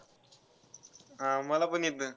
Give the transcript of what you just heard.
हा, मलापण येतं.